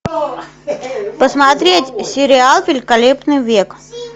посмотреть сериал великолепный век